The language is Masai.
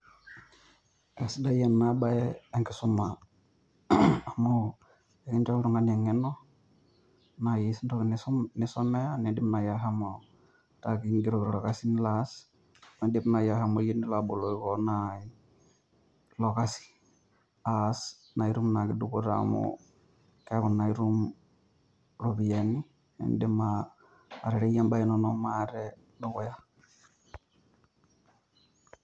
Aisidai ena baye enkisuma amu ekinjo oltungani enkeno naaji entoki nisomea niidim naaji ashomo ataa kingeroki torkasi nilo aas, niidim naaji aboloki kewon ilokasi aas naa itum naake dupoto amu keeku itum iropiyiani niidim atereyie imbaa inono maate dukuya.